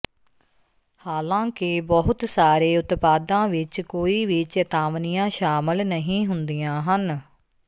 ਹਾਲਾਂਕਿ ਬਹੁਤ ਸਾਰੇ ਉਤਪਾਦਾਂ ਵਿਚ ਕੋਈ ਵੀ ਚੇਤਾਵਨੀਆਂ ਸ਼ਾਮਲ ਨਹੀਂ ਹੁੰਦੀਆਂ ਹਨ